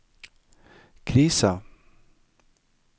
krisa